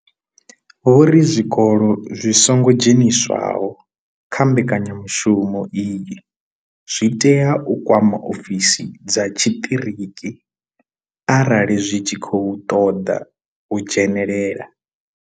Vho ri zwikolo zwi songo dzheniswaho kha mbekanyamushumo iyi zwi tea u kwama ofisi dza tshiṱiriki arali zwi tshi khou ṱoḓa u dzhenelela.